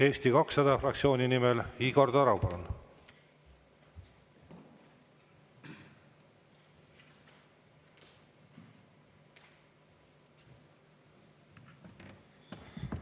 Eesti 200 fraktsiooni nimel Igor Taro, palun!